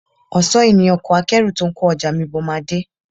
Ọ̀sán yìí ni ọkọ akẹ́rù ́tó ń kó ọjà mi bọ̀ máa dé